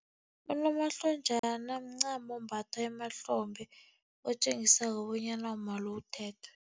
Unomahlonjana mncamo ombathwa emahlombe, otjengisako bonyana umma lo uthethwe.